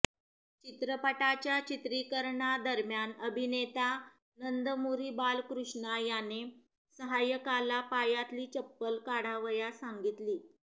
चित्रपटाच्या चित्रीकरणादरम्यान अभिनेता नंदमुरी बालकृष्णा याने सहाय्यकाला पायातली चप्पल काढावयास सांगितली